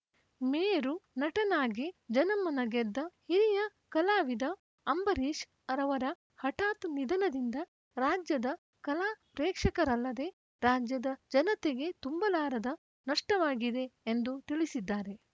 ಮೇರು ನಟನಾಗಿ ಜನಮನ ಗೆದ್ದ ಹಿರಿಯ ಕಲಾವಿದ ಅಂಬರೀಶ್‌ ರವರ ಹಠಾತ್‌ ನಿಧನದಿಂದ ರಾಜ್ಯದ ಕಲಾ ಪ್ರೇಕ್ಷಕರಲ್ಲದೆ ರಾಜ್ಯದ ಜನತೆಗೆ ತುಂಬಲಾರದ ನಷ್ಟವಾಗಿದೆ ಎಂದು ತಿಳಿಸಿದ್ದಾರೆ